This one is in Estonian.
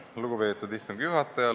Lugupeetud istungi juhataja!